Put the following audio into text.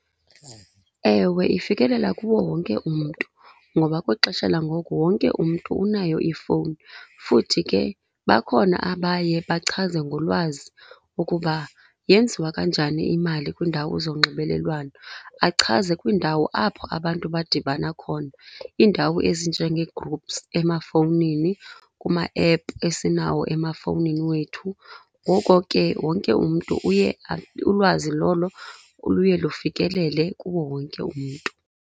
Ewe ifikelela kuwo wonke umntu, ngoba kwixesha langoku wonke umntu unayo ifowuni. Futhi ke bakhona abaye bachaze ngolwazi ukuba yenziwa kanjani imali kwiindawo zonxibelelwano, achaze kwindawo apho abantu badibana khona, iindawo ezinjengee-groups emafowunini, kumaephu esinawo emafowunini wethu. Ngoko ke wonke umntu uye , ulwazi lolo luye lufikelele kuwo wonke umntu.